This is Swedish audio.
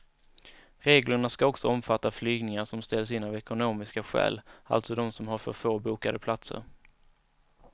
Reglerna ska också omfatta flygningar som ställs in av ekonomiska skäl, alltså de som har för få bokade platser.